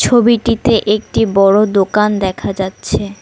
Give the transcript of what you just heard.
ছবিটিতে একটি বড় দোকান দেখা যাচ্ছে।